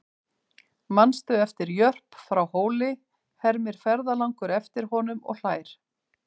Manstu eftir Jörp frá Hóli, hermir ferðalangur eftir honum og hlær.